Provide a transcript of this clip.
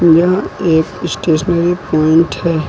यह एक stationery point है।